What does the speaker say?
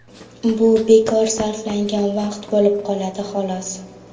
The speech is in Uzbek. Bu bekor sarflangan vaqt bo‘lib qoladi, xolos.